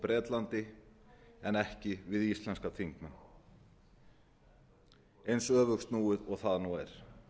bretlandi en ekki við íslenska þingmenn eins öfugsnúið og það nú er